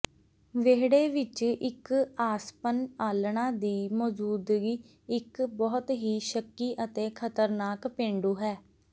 ਵਿਹੜੇ ਵਿਚ ਇਕ ਆਸਪੱਨ ਆਲ੍ਹਣਾ ਦੀ ਮੌਜੂਦਗੀ ਇੱਕ ਬਹੁਤ ਹੀ ਸ਼ੱਕੀ ਅਤੇ ਖਤਰਨਾਕ ਪੇਂਡੂ ਹੈ